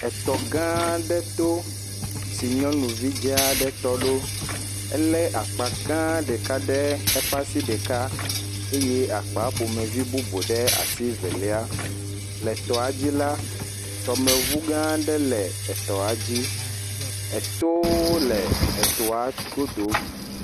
Etɔ gã aɖe to, si nyɔnuvi dzaa aɖe tɔ ɖo, elé akpa gã aɖe ɖe eƒe asi ɖeka eye akpa ƒomevi bubu ɖe asi velia, le tɔa dzi la, tɔmeŋu gã aɖe le etɔa dzi, etowo le etɔa godo.